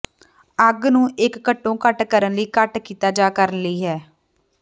ਅੱਗ ਨੂੰ ਇੱਕ ਘੱਟੋ ਘੱਟ ਕਰਨ ਲਈ ਘੱਟ ਕੀਤਾ ਜਾ ਕਰਨ ਲਈ ਹੈ